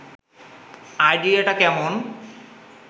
আইডিয়াটা কেমন